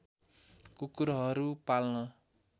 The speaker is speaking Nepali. कुकुरहरू पाल्न